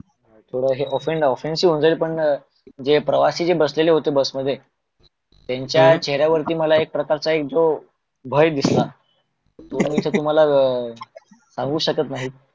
थोड हे ओफ़ेन्शी होऊन जाईल पण जे प्रवाशी बसलेले होते बस मध्ये त्यांच्या चेहर्यावरती एक जो मला भय दिसल मला तो मी तुम्हाला सांगू शकत नहीत.